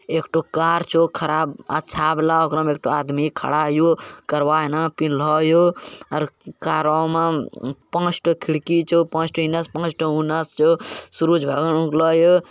एकठो कार छो खराब अच्छा बाला ओकरा में एकठो आदमी खड़ा हीयो करवा हना पिनहलो हीयो आर कारो में उम्म पांच ठो खिड़की छो पांच ठो इने से छो पांच ठो उने से छो सूरुज भगवान उगला ये।